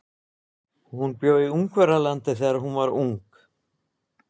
Hún bjó í Ungverjalandi þegar hún var ung.